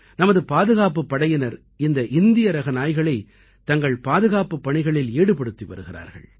நமது பாதுகாப்புப் படையினர் இந்த இந்தியரக நாய்களைத் தங்கள் பாதுகாப்புப் பணிகளில் ஈடுபடுத்தி வருகிறார்கள்